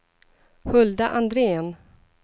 Hulda Andrén